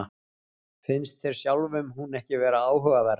Finnst þér sjálfum hún ekki vera áhugaverð?